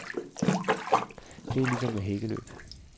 Det er lige som med hækkeløb.